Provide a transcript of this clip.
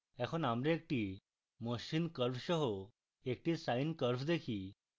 এখন আমরা একটি মসৃণ curve সহ একটি sine curve দেখি